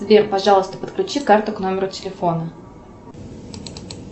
сбер пожалуйста подключи карту к номеру телефона